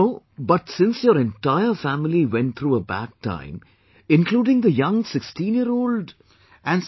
No, but since your entire family went through a bad time, including the young sixteen year old...